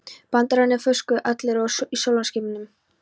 Brandararnir fuku og allir voru í sólskinsskapi.